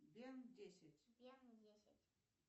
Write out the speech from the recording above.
бен десять